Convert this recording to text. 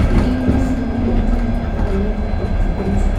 ibu sililnotet ak walet en atebet